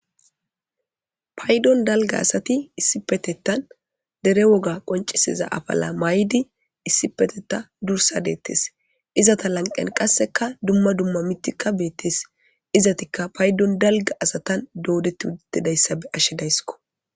Paydon dalgga asati issipetetan issipe shiqidi dere woga qoncisanawu qoncisida afala mayidi issipeteta durssa detes. Izata lanqen qassika dumma dumma mithika beetes.izatika paydon dalgga asa be'ashe daysiko.